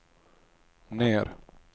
ner